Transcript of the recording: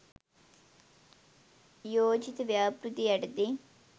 යෝජිත ව්‍යාපෘතිය යටතේ